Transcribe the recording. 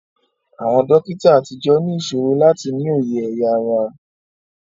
Àwọn dókítà àtijọ́ ní ìṣòro láti ní òye ẹ̀ya ara